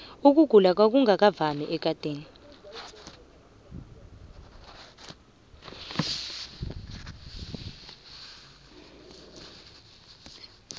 ukugula kwangungakavami ekadeni